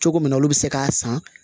Cogo min na olu be se k'a san